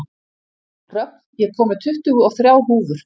Rögn, ég kom með tuttugu og þrjár húfur!